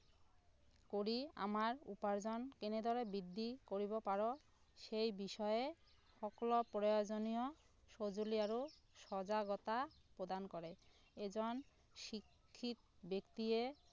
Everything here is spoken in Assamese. কৰি আমাৰ উপাৰ্জন কেনেদৰে বৃদ্ধি কৰিব পাৰ সেই বিষয়ে সকলো প্ৰয়োজনীয় সঁজুলি আৰু সজাগতা প্ৰদান কৰে এজন শিক্ষিত ব্যক্তিয়ে